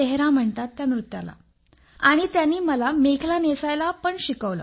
तेहरा म्हणतात त्या नृत्याला आणि त्यांनी मला मेखला नेसायला पण शिकवलं